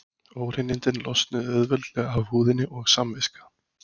Óhreinindin losnuðu auðveldlega af húðinni og samviska